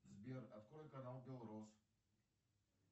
сбер открой канал белрос